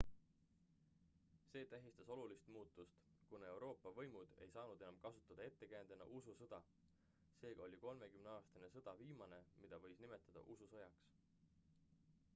see tähistas olulist muutust kuna euroopa võimud ei saanud enam kasutada ettekäändena ususõda seega oli kolmekümneaastane sõda viimane mida võiks nimetada ususõjaks